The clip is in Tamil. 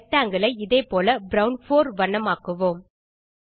ரெக்டாங்கில் ஐ இதே போல ப்ரவுன் 4 வண்ணமாக்குவோம்